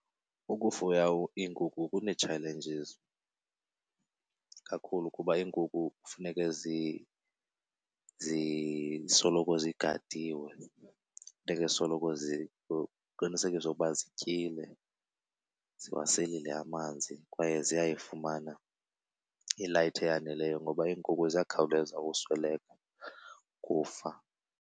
Ukufuya iinkukhu kunee-challenges kakhulu kuba iinkukhu kufuneke zisoloko zigadiwe. Funeke soloko kuqinisekiswe ukuba zityile, ziwaselile amanzi kwaye ziyayifumana i-light eyaneleyo ngoba iinkukhu ziyakhawuleza usweleka, ukufa.